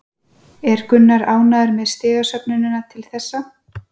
Er Gunnar ánægður með stigasöfnunina til þessa?